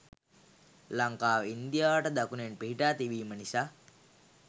ලංකාව ඉන්දියාවට දකුණෙන් පිහිටා තිබීම නිසා